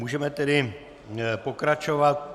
Můžeme tedy pokračovat.